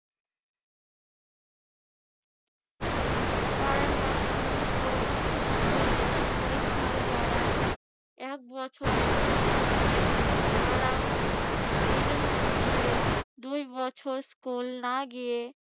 কারণ মাধ্যমিক ও উচ্যমাধ্যমিক পরীক্ষায় যারা এক বছরে দিয়েছেন তারাও এদের মধ্যে দুইবছর স্কুল না গিয়ে